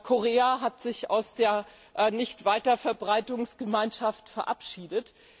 Korea hat sich aus der Nichtweiterverbreitungsgemeinschaft verabschiedet.